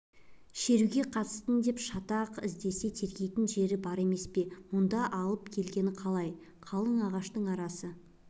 шеруге қатыстың деп шатақ іздесе тергейтін жері бар емес пе мұнда алып келген қалай қалың ағаштың арасы